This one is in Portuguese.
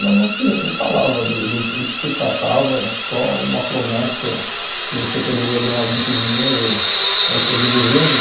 Não não se falava do do do que se tratava, só uma promessa que você poderia ganhar muito dinheiro ou coisa do gênero.